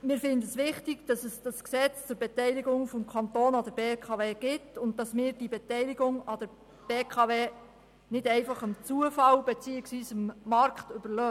Wir finden es wichtig, dass es dieses Gesetz zur Beteiligung des Kantons an der BKW gibt und dass wir diese Beteiligung an der BKW nicht einfach dem Zufall beziehungsweise dem Markt überlassen.